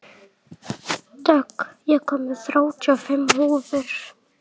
Dögg, ég kom með þrjátíu og fimm húfur!